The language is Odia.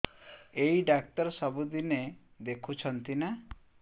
ଏଇ ଡ଼ାକ୍ତର ସବୁଦିନେ ଦେଖୁଛନ୍ତି ନା